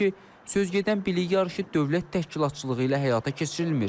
söz gedən bilik yarışı dövlət təşkilatçılığı ilə həyata keçirilmir.